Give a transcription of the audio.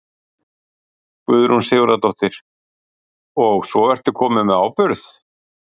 Guðrún Sigurðardóttir: Og svo ertu kominn með áburð?